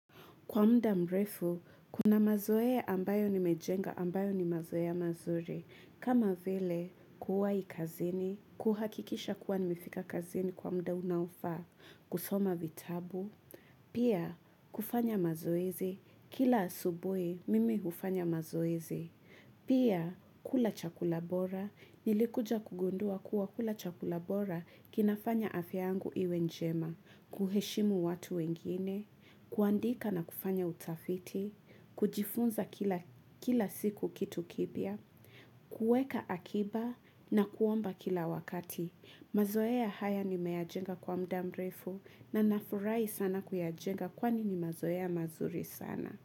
Kwa mda mrefu, kuna mazoea ambayo nimejenga ambayo ni mazoea mazuri. Kama vile kuwai kazini, kuhakikisha kuwa nimefika kazini kwa muda unaofaa, kusoma vitabu. Pia kufanya mazoezi, kila asubuhi mimi hufanya mazoezi. Pia kula chakula bora, nilikuja kugundua kuwa kula chakula bora kinafanya afya yangu iwe njema, kuheshimu watu wengine. Kuandika na kufanya utafiti, kujifunza kila siku kitu kipya, kuweka akiba na kuomba kila wakati. Mazoea haya nimeyajenga kwa muda mrefu na nafurahi sana kuyajenga kwani ni mazoea mazuri sana.